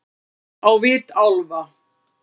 Á vit álfa-